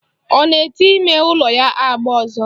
Ọ na-ete ime ụlọ ya agba ọzọ?